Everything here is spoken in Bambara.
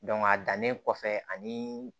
a dannen kɔfɛ ani